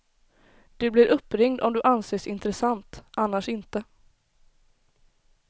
Du blir uppringd om du anses intressant, annars inte.